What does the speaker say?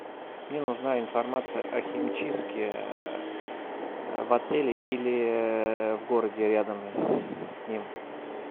мне нужна информация о химчистке в отеле или в городе рядом с ним